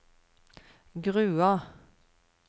Grua